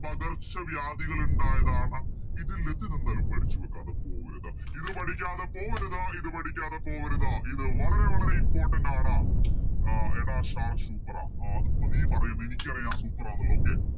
പകർച്ചവ്യാധികൾ ഇണ്ടായതാണ് ഇതിൽ ഇതെന്തായാലും പഠിച്ച് വെക്കാണ്ട് പോവരുത് ഇത് പഠിക്കാതെ പോവരുത് ഇത് പഠിക്കാതെ പോവരുത് ഇത് വളരെ വളരെ Important ആണ് ആഹ് എടാ sir Super ആ അതിപ്പോ നീ പറയും എനിക്കറിയാം Super ആന്നുള്ളത് Okay